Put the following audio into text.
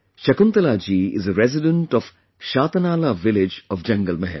Shakuntalaji is a resident of Shatanala village of Jangal Mahal